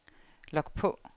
log på